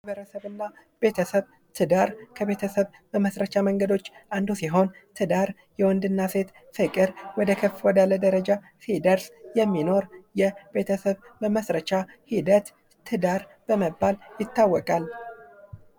ማበረሰብና ቤተሰብ ትዳር ከቤተሰብ መመስረቻ መንገዶች አንዱ ሲሆን ትዳር የወንድና ሴት ፍቅር ወዳለ ከፍ ወዳለ ደረጃ ሲደርስ የሚኖር የቤተሰብ መመስረቻ ሂደት ትዳር በመባል ይታወቃል።